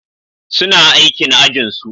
Suna aikin ajinsu.